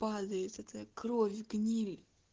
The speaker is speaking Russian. падает эта кровь гниль